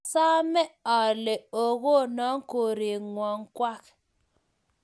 Asame ale okonon korenwang kwak